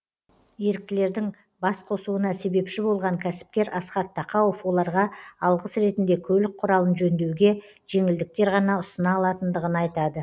еріктілердің бас қосуына себепші болған кәсіпкер асхат тақауов оларға алғыс ретінде көлік құралын жөндеуге жеңілдіктер ғана ұсына алатындығын айтады